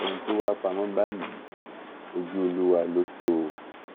ohun tó wàá pamọ báyìí ojú olúwa ló tọ o o